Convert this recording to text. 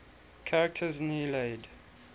characters in the iliad